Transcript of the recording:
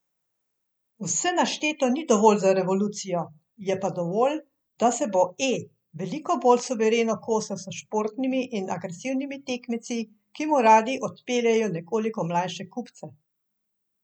Vse našteto ni dovolj za revolucijo, je pa dovolj, da se bo E veliko bolj suvereno kosal s športnimi in agresivnimi tekmeci, ki mu radi odpeljejo nekoliko mlajše kupce.